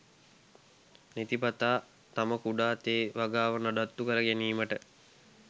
නිතිපතා තම කුඩා තේ වගාව නඩත්තු කර ගැනීමට